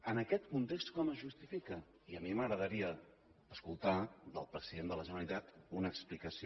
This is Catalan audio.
en aquest context com es justifica i a mi m’agradaria escoltar del president de la generalitat una explicació